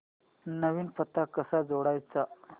नवीन पत्ता कसा जोडायचा